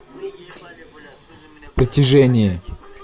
притяжение